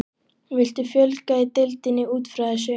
Viltu fjölga í deildinni útfrá þessu?